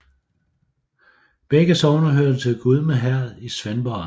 Begge sogne hørte til Gudme Herred i Svendborg Amt